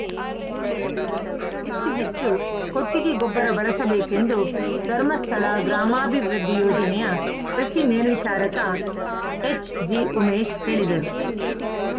ಜಮೀನಿಗೆ ಹೆಚ್ಚು ಹೆಚ್ಚು ಕೊಟ್ಟಿಗೆ ಗೊಬ್ಬರ ಬಳಸಬೇಕೆಂದು ಧರ್ಮಸ್ಥಳ ಗ್ರಾಮಾಭಿವೃದ್ದಿ ಯೋಜನೆಯ ಕೃಷಿ ಮೇಲ್ವಿಚಾರಕ ಎಚ್‌ಜಿಉಮೇಶ್‌ ಹೇಳಿದರು